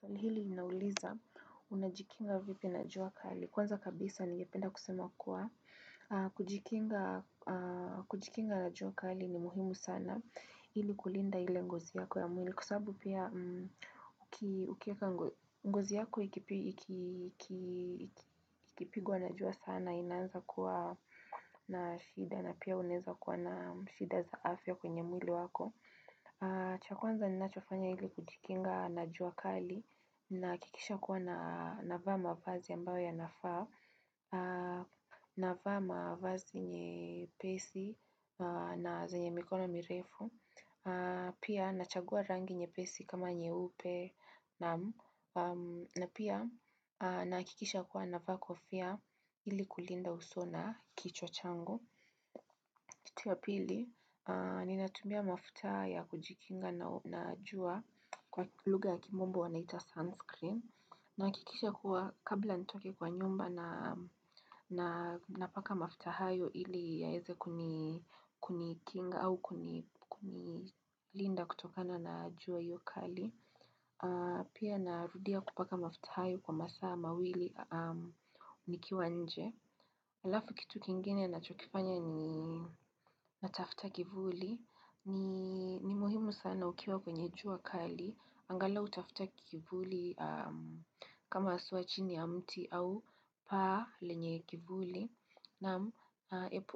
Swali hili nauliza unajikinga vipi na jua kali. Kwanza kabisa ningependa kusema kuwa aah kujikinga,,. Kujikinga na jua kali ni muhimu sana ili kulinda ile ngozi yako ya mwili. Kwa sababu pia mmh,,,, uki ukieka ngozi yako ikipi ikii ikii ikipigwa na jua sana inaanza kuwa na shida na pia unaeza kuwa na shida za afya kwenye mwili wako aaaah. Cha kwanza ninachofanya ili kujikinga na jua kali nahakikisha kuwa na navaa mavazi ambayo yanafaa aaah na vaa mavazi nyee,,, pesi na zenye mikono mirefu aaah Pia nachagua rangi nyepesi kama nyeupe naaam na pia aaah nahakikisha kuwa na vaa kofia ili kulinda uso na kichwa changu kitu ya pili aaaah, ninatumia mafuta ya kujikinga na uuh jua kwa lugha ya kimombo wanaita sunscreen nahakikisha kuwa kabla nitoke kwa nyumba na naaa napaka mafuta hayo ili yaeze kuni kunikinga au kuni kunilinda kutokana na jua hiyo kali aaaah,,, pia narudia kupaka mafuta hayo kwa masaa mawili aaah mmh nikiwa nje. Halafu kitu kingine nachokifanya ni natafuta kivuli nii,,,,,. Ni muhimu sana ukiwa kwenye jua kali. Angalau tafuta kivuli kama sio chini ya mti au paa lenye kivuli.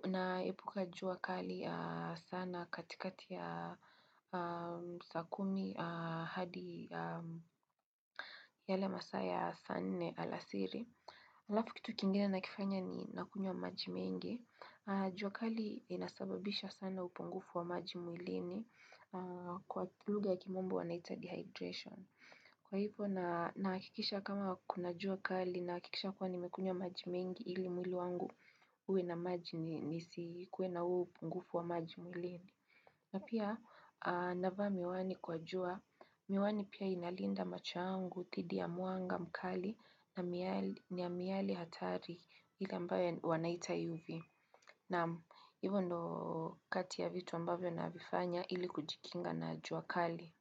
Naepuka jua kali aaah sana katikati ya saa kumi aaaah hadi aaaah yale masaa ya saa nne alasiri. Halafu kitu kingine nakifanya ni nakunywa maji mengi jua kali inasababisha sana upungufu wa maji mwilini aaaa kwa lugha ya kimombo wanaita dehydration. Kwa hivyo na hakikisha kama kuna jua kali na hakikisha kuwa nimekunywa maji mengi Ili mwili wangu uwe na maji ninisi kuwe na huo upungufu wa maji mwilini na pia aaah navaa miwani kwa jua Miwani pia inalinda macho yangu, dhidi ya mwanga mkali na miali na miali hatari ile ambayo wanaita UV. Naam, hivyo ndo kati ya vitu ambavyo na vifanya ili kujikinga na jua kali.